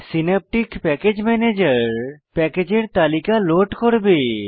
Synaptic package manager প্যাকেজের তালিকা load করবে